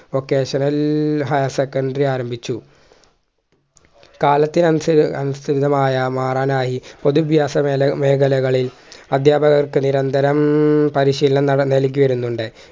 vocational higher scondary ആരംഭിച്ചു കാലത്തിനനുസ അനുസൃതമായ മാറാനായി പൊതു വ്യാസ മേല മേഖലകളിൽ അദ്ധ്യാപകർക്ക് നിരന്തരം പരിശീലനം നൽകിവരുന്നുണ്ട്